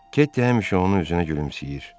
Ketty həmişə onun üzünə gülümsəyir.